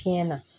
Tiɲɛ na